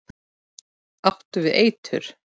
Áttu við eitur.